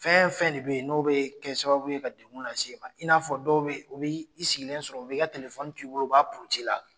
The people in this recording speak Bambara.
Fɛn fɛn de bɛ yen n'o bɛ kɛ sababu ye ka degun lase e ma i n'a fɔ dɔw bɛ yen u bɛ i sigilen sɔrɔ u bɛ i ka t'i bolo u b'a puruti i la.